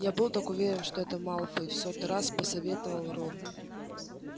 я был так уверен что это малфой в сотый раз посоветовал рон